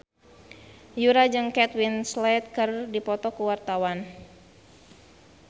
Yura jeung Kate Winslet keur dipoto ku wartawan